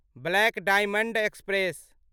black diamond express